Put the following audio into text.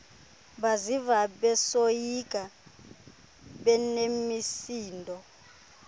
baziva besoyika benemisindo